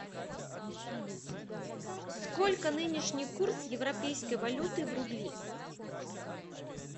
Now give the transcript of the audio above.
сколько нынешний курс европейской валюты в рубли